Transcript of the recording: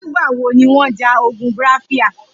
Nigbà wó niwọn jà ógùn Biafra?